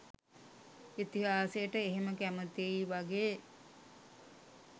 ඉතිහාසයට එහෙම කැමතියි වගේ